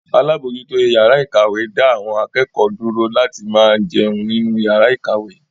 Alábòójútó ìyàrá-ìkàwé da awon akẹ́kọ̀ọ́ dúró láti máa jẹun nínú ìyàrá-ìkàwé.